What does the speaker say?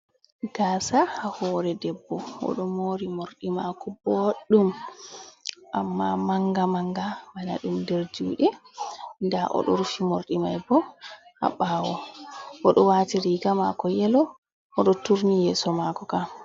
Gasa ha hore debbo oɗo mori morɗi mako boɗum amma manga manga bana ɗum nder juɗe nɗa oɗo rufi morɗi mai bo ha bawo oɗo wati riga mako yelo oɗo turni yeso mako kam.